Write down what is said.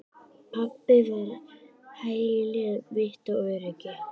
Pabbi var hæli mitt og öryggi.